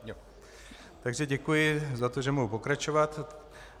Takže děkuji za to, že mohu pokračovat.